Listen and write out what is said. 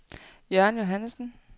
Jørgen Johannesen